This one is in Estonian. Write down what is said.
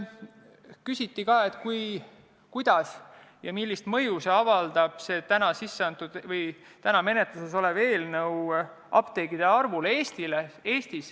Küsiti ka, millist mõju avaldab täna menetluses olev eelnõu apteekide arvule Eestis.